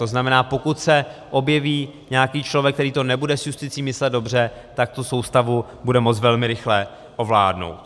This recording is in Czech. To znamená, pokud se objeví nějaký člověk, který to nebude s justicí myslet dobře, tak tu soustavu bude moct velmi rychle ovládnout.